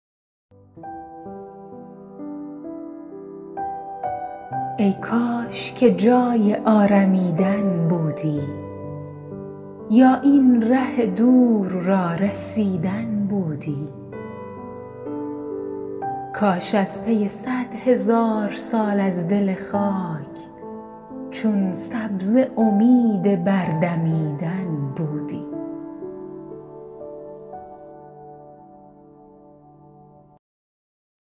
ای کاش که جای آرمیدن بودی یا این ره دور را رسیدن بودی کاش از پی صد هزار سال از دل خاک چون سبزه امید بر دمیدن بودی